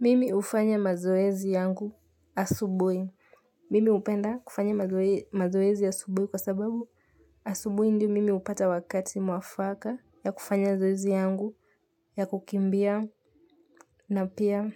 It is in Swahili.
Mimi hufanya mazoezi yangu asubuhi. Mimi hupenda kufanya mazoezi asubuhi kwa sababu asubuhi ndio mimi hupata wakati mwafaka ya kufanya mazoezi yangu ya kukimbia na pia